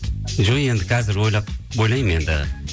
жоқ енді қазір ойлап ойлаймын енді